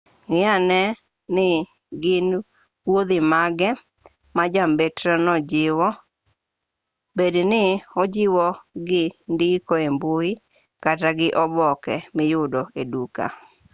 ng'i ane ni gin wuodhi mage ma jambetreno jiwo bed ni ojiwogi gi ndiko e mbui kata gi oboke miyudo e duka